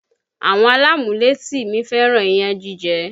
Àwọn alámúlétì mi fẹ́ràn iyán jíjẹ